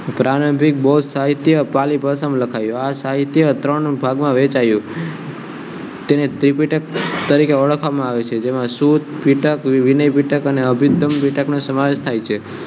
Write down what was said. પ્રારંભિક ભોજ પાલીભાષામાં લખાયયો સાહિત્ય ત્રણ ભાગમાં વહેંચાયો તેને ત્રિપીટક તરીકે ઓળખવામાં આવે છે જેમાં સુતપીટક વિનયપિટક અને અભિપ્તમપિટક નો સમાવેશ થાય છે